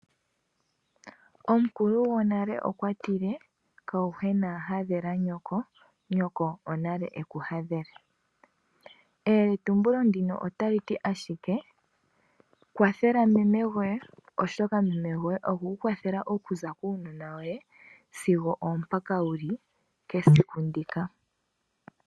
Omukulu gonale okwa tile kayuhwena hadhela nyoko, nyoko onale eku hadhele. Eyeletumbulo ndino otali ti ashike kwathela meme goye oshoka meme goye okwe ku kwathela olundji okuza kuunona woye, sigo oompaka wuli kesiku ndika.